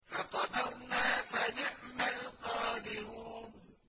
فَقَدَرْنَا فَنِعْمَ الْقَادِرُونَ